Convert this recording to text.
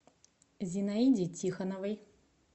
зинаиде тихоновой